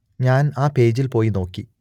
ഞാൻ ആ പേജിൽ പോയി നോക്കി